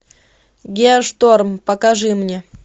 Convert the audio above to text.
геошторм покажи мне